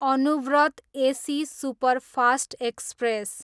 Anuvrat AC superfast express